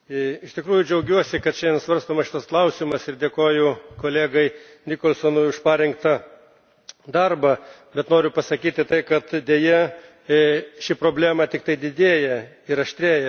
Iš tikrųjų džiaugiuosi, kad šiandien svarstomas šis klausimas ir dėkoju kolegai Jamesui Nicholsonui už parengtą darbą, bet noriu pasakyti, kad, deja, ši problema tik didėja ir aštrėja.